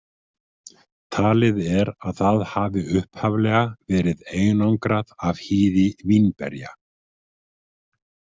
Talið er að það hafi upphaflega verið einangrað af hýði vínberja.